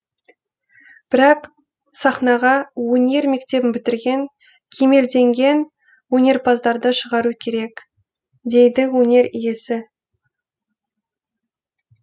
бірақ сахнаға өнер мектебін бітірген кемелденген өнерпаздарды шығару керек дейді өнер иесі